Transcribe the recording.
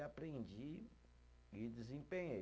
E aprendi e desempenhei.